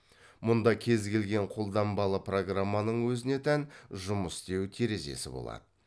мұнда кез келген қолданбалы программаның өзіне тән жұмыс істеу терезесі болады